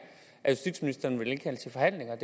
at justitsministeren vil indkalde til forhandlinger